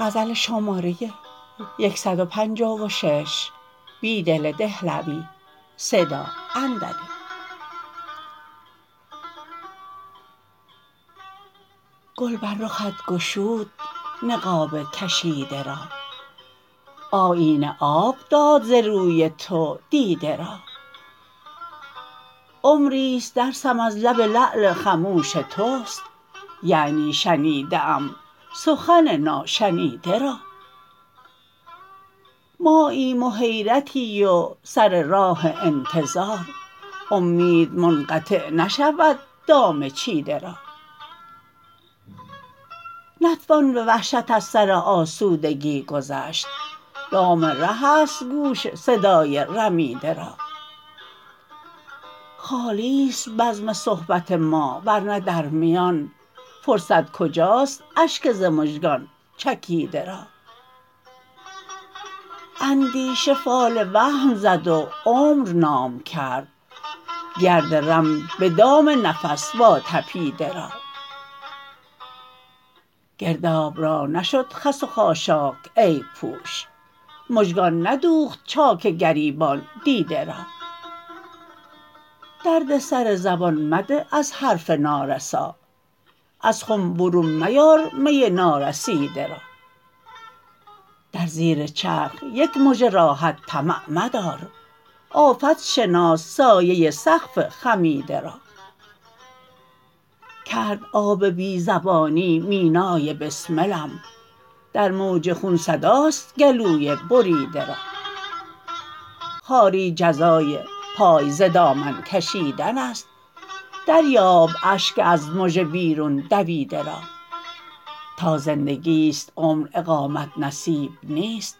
گل بر رخت گشود نقاب کشیده را آیینه آب داد ز روی تو دیده را عمریست درسم از لب لعل خموش تست یعنی شنیده ام سخن ناشنیده را ماییم و حیرتی و سر راه انتظار امید منقطع نشود دام چیده را نتوان به وحشت از سر آسودگی گذشت دام ره است گوش صدای رمیده را خالی ست بزم صحبت ما ورنه در میان فرصت کجاست اشک ز مژگان چکیده را اندیشه فال وهم زد و عمر نام کرد گرد رم به دام نفس واتپیده را گرداب را نشد خس و خاشاک عیب پوش مژگان ندوخت چاک گریبان دیده را دردسر زبان مده از حرف نارسا از خم برون میار می نارسیده را در زیر چرخ یک مژه راحت طمع مدار آفت شناس سایه سقف خمیده را کرد آب بی زبانی مینای بسملم در موج خون صداست گلوی بریده را خواری جزای پای ز دامن کشیدن است دریاب اشک از مژه بیرون دویده را تا زندگی ست عمر اقامت نصیب نیست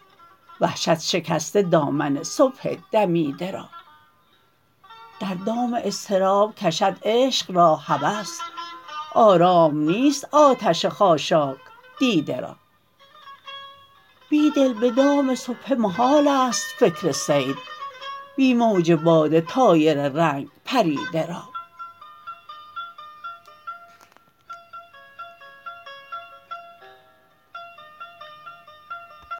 وحشت شکسته دامن صبح دمیده را در دام اضطراب کشد عشق را هوس آرام نیست آتش خاشاک دیده را بیدل به دام سبحه محال است فکر صید بی موج باده طایر رنگ پریده را